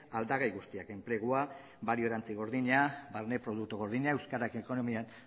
aldagai guztiak enplegua balio erantsi gordina barne produktu gordina euskarak ekonomian